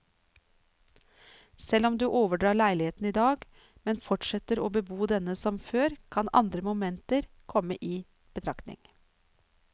Selv om du overdrar leiligheten i dag, men fortsetter å bebo denne som før, kan andre momenter komme i betraktning.